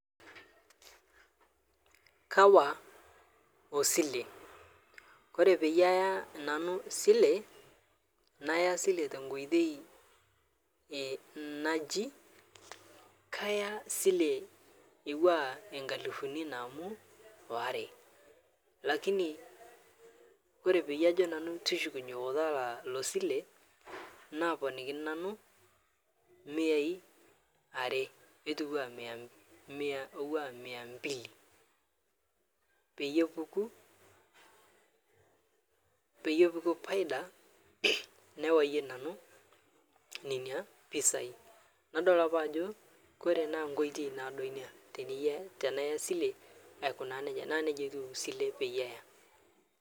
Kawa Osile Kore peiyee aiyaa nanuu silee nayaa sile tenkoitei najii kaya silee atuwaa lkalifunii namuu aware lakini Kore paajo nanuu tushukunyee otalaa ilo silee naaponikinii nanuu miyai aree netuwa Mia mbili, peiye epukuu paida newayee nanuu nenia pisai nadol apaa Ajo kore naa nkoitei naodoo inia tiniyaa silee aikunaa nejaa naa neja etuu silee peiyee aiyaa.